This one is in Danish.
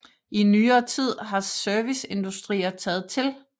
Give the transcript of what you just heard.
I nyere tid har serviceindustrier taget til